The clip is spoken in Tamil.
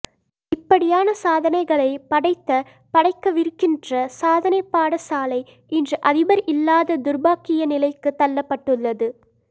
இப்படியான சாதனைகளை படைத்த படைக்கவிருக்கின்ற சாதனை பாடசாலை இன்று அதிபர் இல்லாத துர்பாக்கிய நிலைக்கு தள்ளப்பட்டுள்ளது